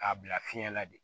K'a bila fiɲɛ la de